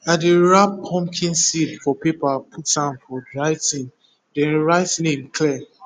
i dey wrap pumpkin seed for paper put am for dry tin then write name clear